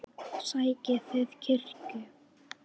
Sækið þið kirkju?